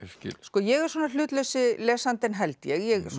ég er svona hlutlausi lesandinn held ég ég